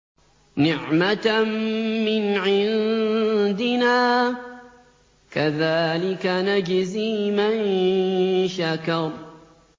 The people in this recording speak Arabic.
نِّعْمَةً مِّنْ عِندِنَا ۚ كَذَٰلِكَ نَجْزِي مَن شَكَرَ